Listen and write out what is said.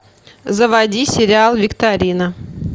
заводи сериал викторина